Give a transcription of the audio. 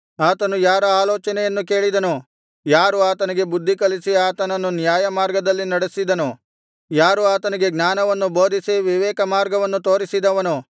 ಆತನು ಯಾರ ಆಲೋಚನೆಯನ್ನು ಕೇಳಿದನು ಯಾರು ಆತನಿಗೆ ಬುದ್ಧಿಕಲಿಸಿ ಆತನನ್ನು ನ್ಯಾಯಮಾರ್ಗದಲ್ಲಿ ನಡೆಯಿಸಿದನು ಯಾರು ಆತನಿಗೆ ಜ್ಞಾನವನ್ನು ಬೋಧಿಸಿ ವಿವೇಕ ಮಾರ್ಗವನ್ನು ತೋರಿಸಿದವನು